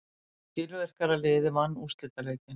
Skilvirkara liðið vann úrslitaleikinn.